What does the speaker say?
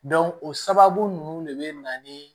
o sababu ninnu de bɛ na ni